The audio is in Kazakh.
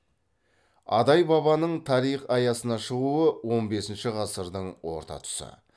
адай бабаның тарих аясына шығуы он бесінші ғасырдың орта тұсы